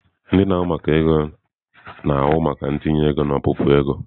Ndị na-ahụ maka ego na-ahụ maka ntinye ego na ọpụpụ ego.